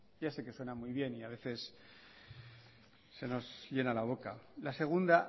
ya sé que suena muy bien y a veces se nos llena la boca la segunda